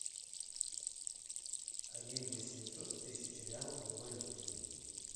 один восемьсот тысяч реалов в валюте